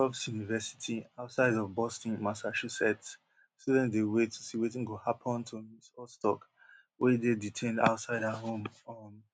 for tufts university outside of boston massachusetts students dey wait to see wetin go happun to ms ozturk wey dey detained outside her home um